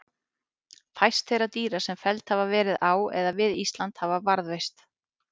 Fæst þeirra dýra sem felld hafa verið á eða við Ísland hafa varðveist.